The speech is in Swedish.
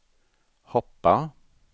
hoppa